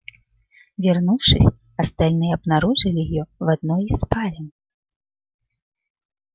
вернувшись остальные обнаружили её в одной из спален